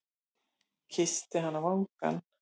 Kyssi hana á vangann.